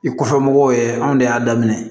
I kɔfɛ mɔgɔw ye anw de y'a daminɛ